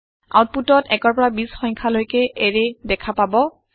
আওতপুটত১ৰ পৰা ২০ৰ সংখ্যা লৈকে এৰে দেখা পাব